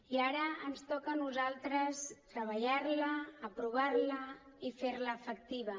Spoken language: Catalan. i ara ens toca a nosaltres treballar la aprovar la i fer la efectiva